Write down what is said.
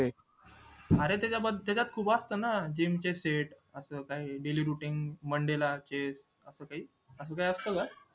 अरे त्याच्या त्याच्यात खूप असतं ना gym चे set असं काही daily duty monday चे असं काही असं काय असतं का